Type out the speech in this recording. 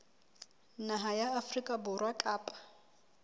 naha ya afrika borwa kapa